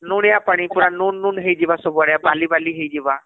ଣୁନିଆ ପାଣି ପୁରା ନୁଣ ନୁଣ ହେଇଜିବା ସବୁଆଡେ , ବାଲି ବାଲି ହେଇଜିବା